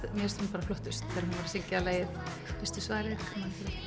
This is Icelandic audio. bara flottust þegar hún söng lagið veistu svarið